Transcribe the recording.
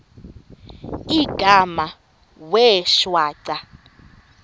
igama wee shwaca